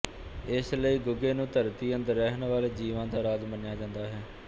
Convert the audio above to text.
ਇਸ ਲਈ ਗੁੱਗੇ ਨੂੰ ਧਰਤੀ ਅੰਦਰ ਰਹਿਣ ਵਾਲੇ ਜੀਵਾਂ ਦਾ ਰਾਜ ਮੰਨਿਆ ਜਾਂਦਾ ਹੈ